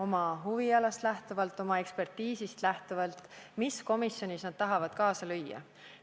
Lähtudes oma huvialast, ekspertiisist, otsustavad nad, millise komisjoni töös nad tahavad kaasa lüüa.